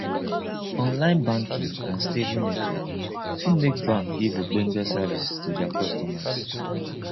online banking and stable network fit make banks give ogbonge service to their customers